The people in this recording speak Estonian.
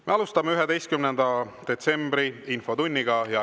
Me alustame 11. detsembri infotundi.